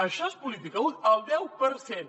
això és política útil el deu per cent